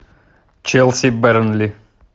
челси бернли